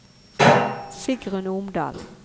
Sigrunn Omdal